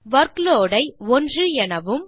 workload ஐ 1 எனவும்